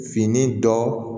Fini dɔ